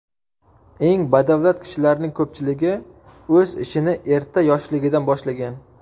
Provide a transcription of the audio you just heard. Eng badavlat kishilarning ko‘pchiligi o‘z ishini erta yoshligidan boshlagan.